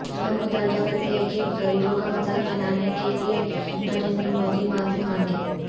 ہم مطالبہ کرتے ہیں کہ غریبوں کا مذاق بنانے کے لئے نریندر مودی معافی مانگیں